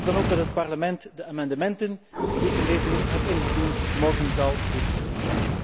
Ik hoop dan ook dat het Parlement de amendementen die ik in deze zin heb ingediend, morgen zal goedkeuren.